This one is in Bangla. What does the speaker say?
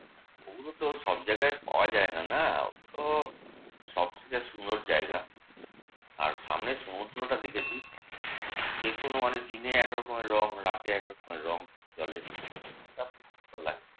ওগুলো তো সব জায়গায় পাওয়া যায় না না? ওগুলো তো সবথেকে সুন্দর জায়গা। আর সামনে সমুদ্রটা দেখেছি। যেকোনো মানে দিনে একরকমের রঙ রাতে একরকমের রঙ জলের।